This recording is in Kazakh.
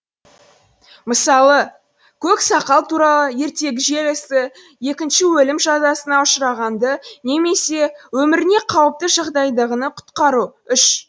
мысалы көк сақал туралы ертегі желісі екінші өлім жазасына ұшырағанды немесе өміріне қауіпті жағдайдағыны құтқару үш